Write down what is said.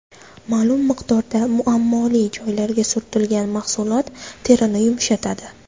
Ma’lum miqdorda muammoli joylarga surtilgan mahsulot terini yumshatadi.